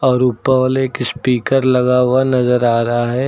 और ऊपर वॉल एक स्पीकर लगा हुआ नजर आ रहा है।